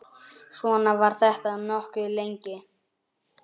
Svona var þetta nokkuð lengi.